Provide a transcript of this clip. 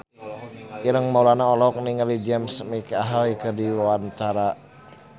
Ireng Maulana olohok ningali James McAvoy keur diwawancara